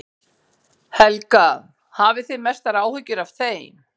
Helga: Hafið þið mestar áhyggjur af þeim?